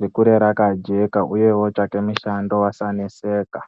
rikure rakajeka uye ootsvaka mushando asaneseka.